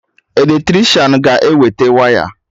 Eletricịanahụ ga-ewete waya